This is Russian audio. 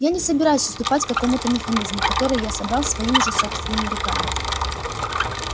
я не собираюсь уступать какому-то механизму который я собрал своими же собственными руками